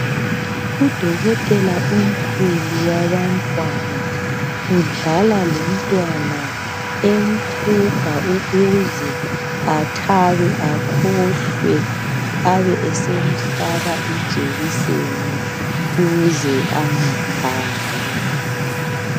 Udokotela omkhulu wabantwana, udlala lomntwana emhuga ukuze athabe akhohlwe abe esemhlaba ijekiseni ukuze angakhali.